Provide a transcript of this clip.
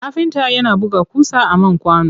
Kafinta yana buga ƙusa a man kwano.